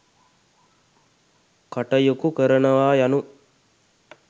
කටයුකු කරනවා යනු